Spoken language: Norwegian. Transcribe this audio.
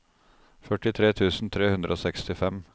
førtitre tusen tre hundre og sekstifem